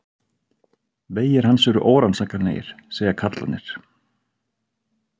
Vegir hans eru órannsakanlegir, segja karlarnir.